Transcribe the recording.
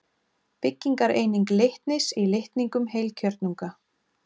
Byggingareining litnis í litningum heilkjörnunga.